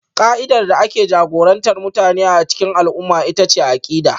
Ƙa'idar da ke jagorantar mutane a cikin al'umma ita ce akida